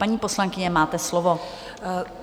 Paní poslankyně, máte slovo.